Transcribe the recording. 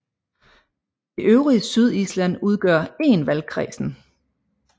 Det øvrige Sydisland udgør én valgkredsen